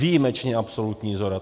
Výjimečně absolutní shoda.